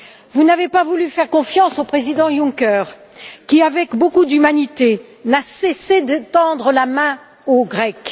Vous n'avez pas voulu faire confiance au président Juncker qui, avec beaucoup d'humanité, n'a cessé de tendre la main aux Grecs.